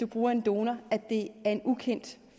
bruger en donor at det er en ukendt